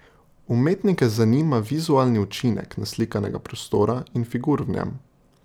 Umetnike zanima vizualni učinek naslikanega prostora in figur v njem.